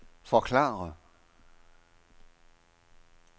forklare